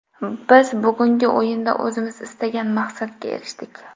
Biz bugungi o‘yinda o‘zimiz istagan maqsadga erishdik.